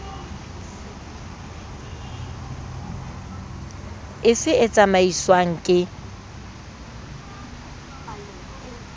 e fe e tsamaiswang ke